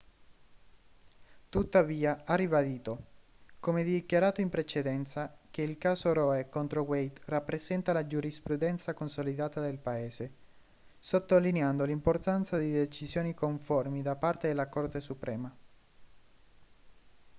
tuttavia ha ribadito come dichiarato in precedenza che il caso roe contro wade rappresenta la giurisprudenza consolidata del paese sottolineando l'importanza di decisioni conformi da parte della corte suprema